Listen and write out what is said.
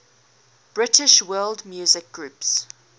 british world music groups